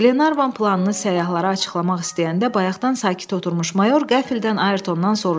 Glenarvan planını səyyahlara açıqlamaq istəyəndə, bayaqdan sakit oturmuş mayor qəfildən Ayrtondan soruşdu.